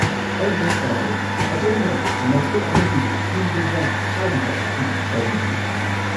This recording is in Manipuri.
ꯑꯩ ꯚꯥꯞ ꯇꯥꯗ꯭ꯔꯦ, ꯑꯗꯣꯝꯅ 'ꯃꯈꯜ ꯑꯃꯒꯤ ꯏ-ꯚꯤꯖꯥ' ꯍꯥꯏꯔꯤꯕ ꯑꯁꯤ ꯀꯔꯤꯕꯨꯅꯣ?